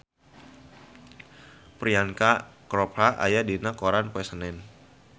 Priyanka Chopra aya dina koran poe Senen